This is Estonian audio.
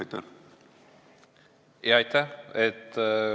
Aitäh!